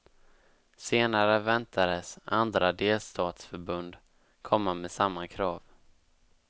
Senare väntades andra delstatsförbund komma med samma krav.